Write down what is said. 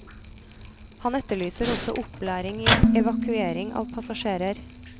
Han etterlyser også opplæring i evakuering av passasjerer.